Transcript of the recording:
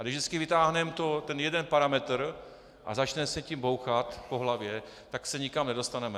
A když vždycky vytáhneme ten jeden parametr a začneme se tím bouchat po hlavě, tak se nikam nedostaneme.